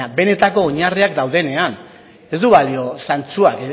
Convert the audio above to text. baina benetako oinarriak daudenean ez du balio zantzuak